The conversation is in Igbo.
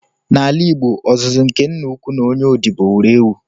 N’ala Igbo, ọzụzụ nke Nna-ukwu na onye odibo wuru ewu.